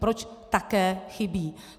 Proč také chybí.